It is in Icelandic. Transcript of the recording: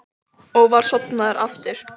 Og var sofnaður aftur.